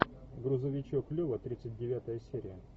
грузовичок лева тридцать девятая серия